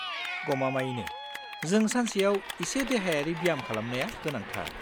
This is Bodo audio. गमामायैनो, जों सानसेयाव एसे देहायारि ब्याम खालामनाया गोनांथार।